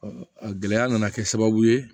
a gɛlɛya nana kɛ sababu ye